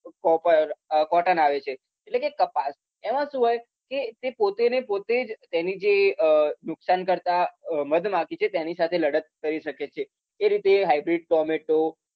copper અમ cotton આવે છે એટલે કે કપાસ એમાં શું હોય કે તે પોતે ને પોતે જ એને જે અમ નુકસાનકર્તા અમ મધમાખી છે તેની સાથે લડત કરી શકે છે એ રીતે hybrid tomato